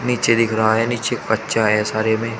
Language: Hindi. निचे दिख रहा है निचे एक है सारे में--